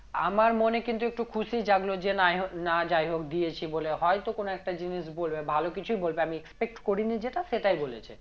আমার মনে কিন্তু একটু খুশি জাগলো যে নাই হোক না যাই হোক দিয়েছি বলে হয়তো কোনো একটা জিনিস বলবে ভালো কিছু বলবে আমি expect করিনি যেটা সেটাই বলেছে